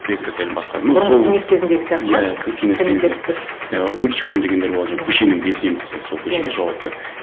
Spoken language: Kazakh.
кск сәл басқа но сол бұрынғы кеңес кезіндегі сияқты ма иә кеңес комитет бір і уличком дегендер болады жаңа көшенің белсендісі сол көшеге жауапты